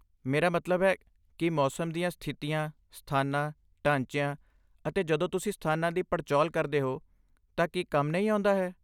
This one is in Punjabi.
ਮੇਰਾ ਮਤਲਬ ਹੈ, ਕੀ ਮੌਸਮ ਦੀਆਂ ਸਥਿਤੀਆਂ, ਸਥਾਨਾਂ, ਢਾਂਚਿਆਂ, ਅਤੇ ਜਦੋਂ ਤੁਸੀਂ ਸਥਾਨਾਂ ਦੀ ਪੜਚੋਲ ਕਰਦੇ ਹੋ ਤਾਂ ਕੀ ਕੰਮ ਨਹੀਂ ਆਉਂਦਾ ਹੈ?